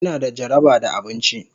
Ina da jaraba da abinci.